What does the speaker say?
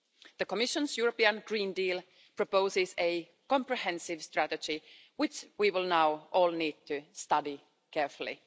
The Commission's European Green Deal proposes a comprehensive strategy which we will now all need to study carefully.